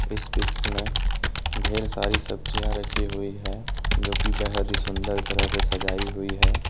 इस पिक्स में ढेर सारी सब्जियां रखी हुई है जो की बेहद सुंदर तरह से सजाई हुई है।